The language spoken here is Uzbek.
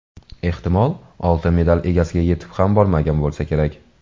Ehtimol, oltin medal egasiga yetib ham bormagan bo‘lsa kerak.